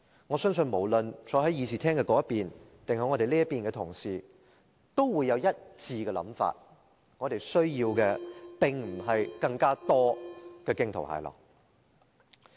我相信無論坐在會議廳那邊還是我們這邊的同事都有一致的想法，我們需要的並非是更多驚濤駭浪。